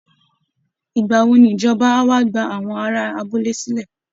Ìgbà wo ni ìjọba á wà gba àwọn ará abúlé sílẹ̀?